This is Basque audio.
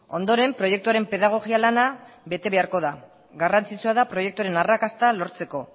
ondoren proiektuaren pedagogia lana bete beharko da garrantzitsua da proiektuaren arrakasta lortzeko